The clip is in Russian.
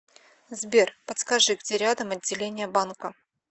сбер подскажи где рядом отделение банка